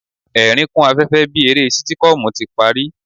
Ẹ̀ẹ̀rín kún afẹ́fẹ́ bí eré sítíkọ́ọ̀mù ti parí.